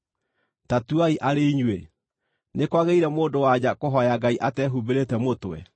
Ta tuai arĩ inyuĩ: Nĩ kwagĩrĩire mũndũ-wa-nja kũhooya Ngai atehumbĩrĩte mũtwe?